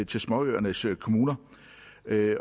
til småøernes kommuner